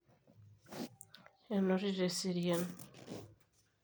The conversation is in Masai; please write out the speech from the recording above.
enotito eserian